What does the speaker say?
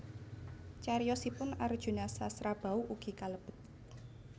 Cariyosipun Arjunasasrabau ugi kalebet